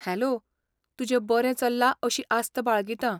Hello, तुजें बरें चल्लां अशी आस्त बाळगितां.